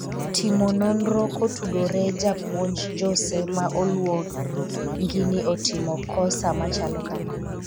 timo nonro kotudore japuonj Jose ma oluongi ni otimo kosa machalo kamano